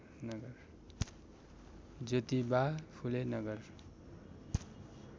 Jyotiba Phule Nagar